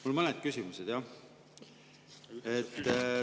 Mul on mõned küsimused, jah.